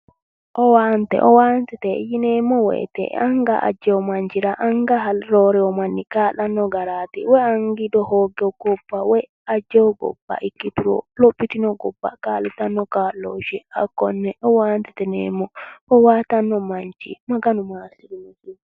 owaante, owaantete yineemmo woyiite anga ajjewo machira anga roorewo manno kaa'lanno garaati. woyi angiido ajjewo hogewo gobba ikkituro lophitino gobba kaa'litanno kaa'looshshe hakkonne owaantete yineemmo. owaatanno manchi Maganu maassirinoho.